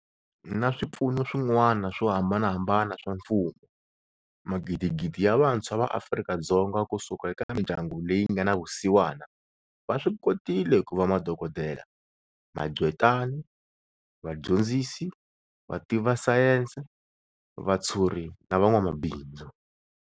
Na swipfuno swin'wana swo hambanahambana swa mfumo, magidigidi ya vantshwa va Afrika-Dzonga ku suka eka mindyangu leyi nga na vusiwana va swi kotile ku va madokodela, maqgwetai, va dyondzisi, vativa sayense, vatshuri na van'wamabindzu.